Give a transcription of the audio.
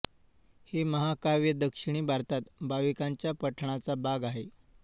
हे महाकाव्य दक्षिणी भारतात भाविकांच्या पठणाचा भाग आहे